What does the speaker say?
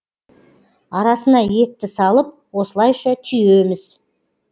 арасына етті салып осылайша түйеміз